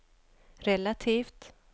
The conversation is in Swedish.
relativt